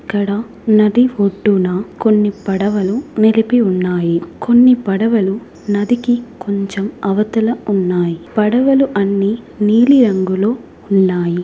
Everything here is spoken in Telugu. ఇక్కడ నది ఒడ్డున కొన్ని పడవలు నిలిపి ఉన్నాయి కొన్ని పడవలు నది కి కొంచెం అవతల ఉన్నాయి పడవలు అన్నీ నీలి రంగులో ఉన్నాయి.